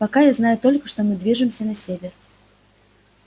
пока я знаю только что мы движемся на север